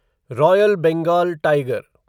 royal Bengal tiger